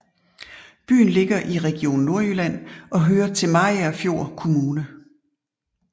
Byen ligger i Region Nordjylland og hører til Mariagerfjord Kommune